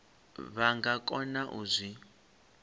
vha nga kona u zwi